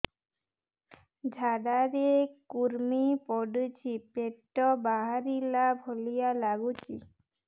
ଝାଡା ରେ କୁର୍ମି ପଡୁଛି ପେଟ ବାହାରିଲା ଭଳିଆ ଲାଗୁଚି